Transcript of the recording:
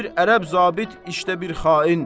Bir ərəb zabit, işdə bir xain.